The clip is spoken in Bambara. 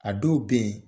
A dɔw be yen